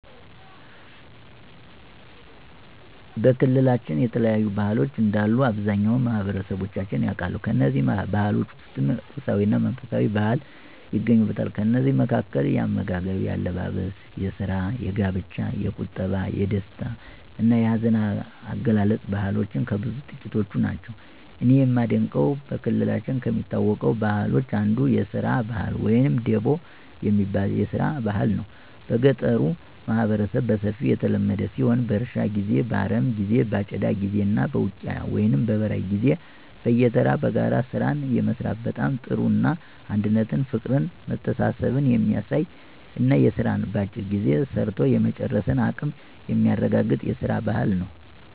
በክልላችን የተለያዩ ባህሎች እንዳሉ አብዛኛው ማህበረሠባችን ያውቃል። ከእነዚህ ባህሎች ውስጥም ቁሳዊ እና መንፈሳዊ ባህል ይገኙበታል። ከእነዚህ መካከል፦ የአመጋገብ፣ የአለባበስ፣ የስራ፣ የጋብቻ፣ የቁጠባ፣ የደስታ እና የሀዘን አገላለፅ ባህልሎች ከብዙ ጥቂቶቹ ናቸው። እኔ የማደንቀው በክልላችን ከሚታወቁ ባህሎች አንዱ የስራ ባህል ወይም ደቦ የሚባል የስራ ባህል ነው። በገጠሩ ማህበረሠብ በሰፊው የተለመደ ሲሆን በእርሻ ጊዜ፣ በአረሞ ጊዜ በአጨዳ ጊዜ እና በውቂያ ወይም በበራይ ጊዜ በየተራ በጋራ ስራን የመስራት በጣም ጥሩ እና አንድነትን ፍቅርን መተሳሠብን የሚያሳይ እና ስራን በአጭር ጊዜ ሰርቶ የመጨረስን አቀም የሚያረጋገጥ የስራን ባህል ነው።